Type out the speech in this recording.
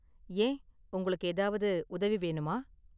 ஏன், உங்களுக்கு ஏதாவது உதவி வேணுமா?